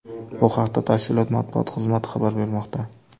Bu haqda tashkilot matbuot xizmati xabar bermoqda.